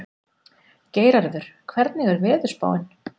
Geirarður, hvernig er veðurspáin?